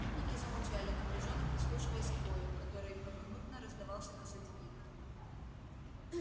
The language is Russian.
путники замолчали напряжённо прислушиваясь к вою которьгй поминутно раздавался позади них